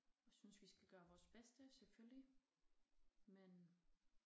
Jeg synes vi skal gøre vores bedste selvfølgelig men